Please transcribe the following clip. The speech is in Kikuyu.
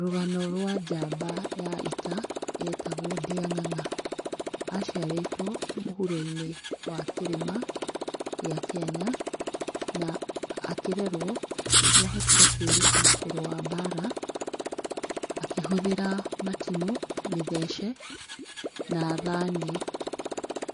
Rũgano rwa njamba ya ita yetagwo Ndĩa ng'ang'a, aciarĩtwo mũhuro-inĩ wa kĩrĩma gĩa Kenya na akĩrerwo nĩ erutire kũreĩa mbara akĩhũthĩra matimũ, mĩthece na thani.